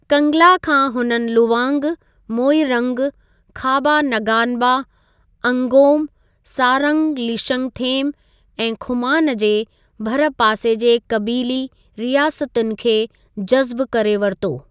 कंगला खां हुननि लुवांग, मोइरंग, खाबा नगानबा, अंगोम, सारंग लीशंगथेम ऐं खुमान जे भरिपासे जे क़बीली रियासतुनि खे जज़्बु करे वरितो।